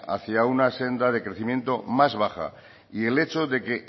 hacia una senda de crecimiento más baja y el hecho de que